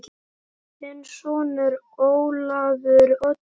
Þinn sonur, Ólafur Oddur.